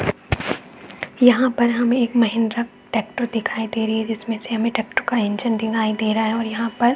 यहाँ पर हमे एक महिंद्रा टेक्टर दिखाई दे रही है। जिसमे से हमे टेक्टर का इंजन दिखाई दे रहा है यहाँ पर--